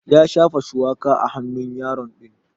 Ya shafa shuwaka a hannun yaro din.